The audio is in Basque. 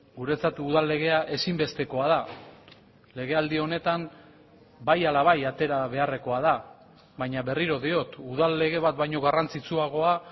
guretzat udal legea ezinbestekoa da legealdi honetan bai ala bai atera beharrekoa da baina berriro diot udal lege bat baino garrantzitsuagoa